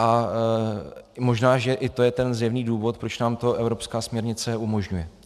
A možná že i to je ten zjevný důvod, proč nám to evropská směrnice umožňuje.